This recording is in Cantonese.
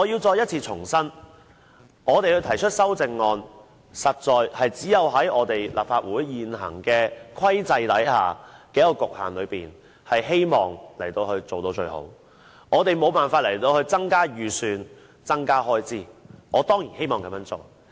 我要重申，我們提出修正案，其實是希望在立法會現行制度和局限之中，能夠做到最好，我們無法要求增加預算開支，我當然希望這樣做。